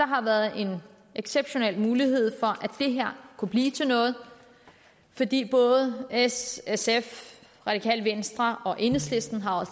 har været en exceptionel mulighed for at det her kunne blive til noget fordi både s sf radikale venstre og enhedslisten